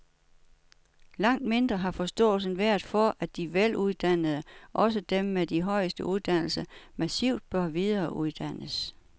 Langt mindre har forståelsen været for, at de veluddannede, også dem med de højeste uddannelser, massivt bør videreuddannes.